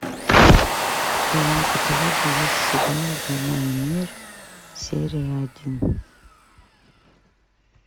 в твоем каталоге есть сериал война и мир серия один